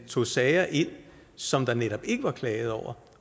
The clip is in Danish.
tog sager ind som der netop ikke var klaget over